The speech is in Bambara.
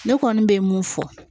Ne kɔni bɛ mun fɔ